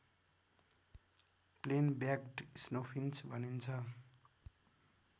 plain-backed snowfinch भनिन्छ